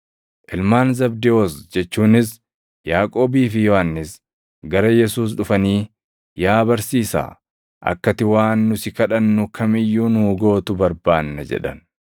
Ilmaan Zabdewoos jechuunis Yaaqoobii fi Yohannis gara Yesuus dhufanii, “Yaa Barsiisaa, akka ati waan nu si kadhannu kam iyyuu nuu gootu barbaanna” jedhan.